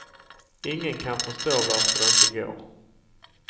Ingen kan förstå varför de inte går.